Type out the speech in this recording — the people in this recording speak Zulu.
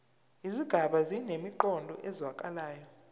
izigaba zinemiqondo ezwakalayo